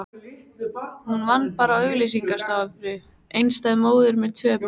Hún vann bara á auglýsingastofu, einstæð móðir með tvö börn.